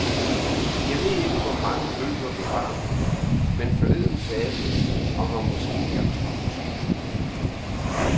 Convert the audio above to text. Jeg ved ikke hvor mange bøger, vi har, men forleden sagde du, at her måske er tolv tusind.